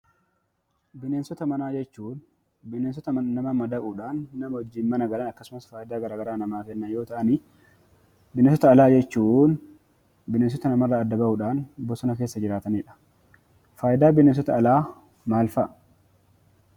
Bineensota manaa jechuun bineensota nama madaquudhaan nama wajjin mana galan akkasumas faayidaa garaagaraa namaaf kennan yommuu ta'an, bineensota alaa jechuun bineensota nama irraa adda ba'uudhaan bosona keessa jiraatanii dha. Faayidaan bineensota alaa maal fa'a?